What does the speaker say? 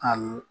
Ayi